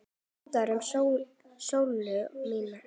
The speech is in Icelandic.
Minning um Sollu mína.